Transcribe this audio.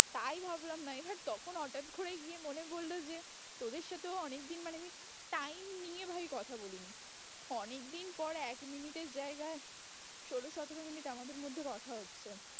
তাই ভাবলাম না এবার তখন হঠাৎ করে গিয়ে মনে পড়লো যে তোদের সাথেও অনেকদিন মানে আমি time নিয়ে ভাই কথা বলিনি ` অনেকদিন পর এক মিনিটের জায়গায় ষোলো সতেরো মিনিট আমাদের মধ্যে কথা হচ্ছে।